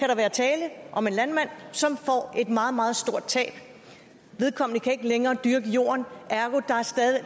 der være tale om en landmand som får et meget meget stort tab vedkommende kan ikke længere dyrke jorden ergo